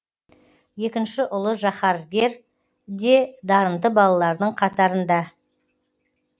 екінші ұлы жаһаргер де дарынды балалардың қатарында